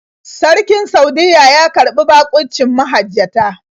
Sarkin Saudiyya ya karɓi baƙuncin mahajjata.